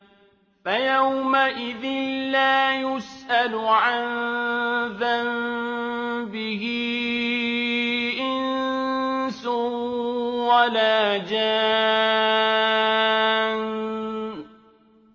فَيَوْمَئِذٍ لَّا يُسْأَلُ عَن ذَنبِهِ إِنسٌ وَلَا جَانٌّ